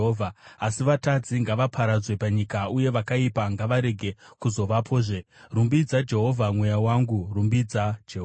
Asi vatadzi ngavaparadzwe panyika, uye vakaipa ngavarege kuzovapozve. Rumbidza Jehovha, mweya wangu. Rumbidzai Jehovha.